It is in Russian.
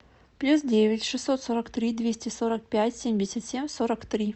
плюс девять шестьсот сорок три двести сорок пять семьдесят семь сорок три